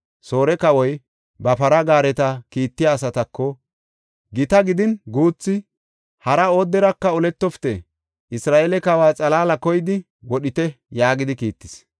Soore kawoy ba para gaareta kiittiya asatako, “Gita gidin guuthi, hara ooderaka oletofite; Isra7eele kawa xalaala koyidi wodhite” yaagidi kiittis.